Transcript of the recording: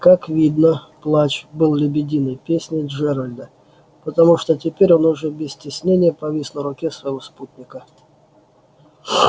как видно плач был лебединой песней джералда потому что теперь он уже без стеснения повис на руке своего спутника